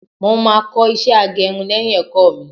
mo ma ko iṣẹ agerun léyìn ẹkọ mi